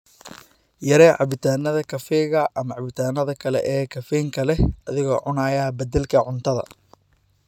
Yaree cabbitaannada kafeega ama cabitaannada kale ee Caffeine-ka leh adiga oo cunaya beddelka cuntada.